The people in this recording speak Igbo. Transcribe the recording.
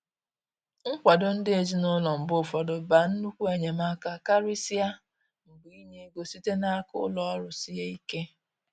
Nkwado ndi ezinaụlọ mgbe ụfọdụ ba nnukwu enyemaka, karịsịa mgbe inye ego site n'aka ụlọ ọrụ sie ike.